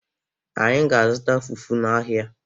Anyị ga-azụta fufu n’ahịa.